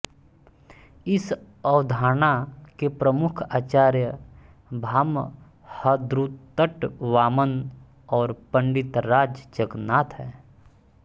इस अवधारणा के प्रमुख आचार्य भामहरुद्रटवामन और पण्डितराज जगन्नाथ हैं